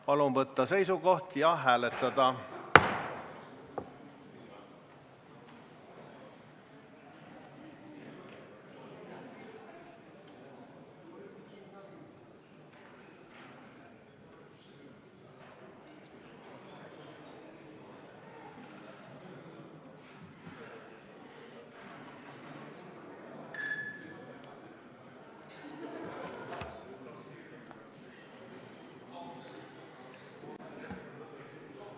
Palun võtta seisukoht ja hääletada!